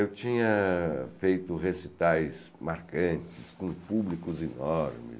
Eu tinha feito recitais marcantes com públicos enormes.